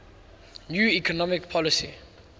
new economic policy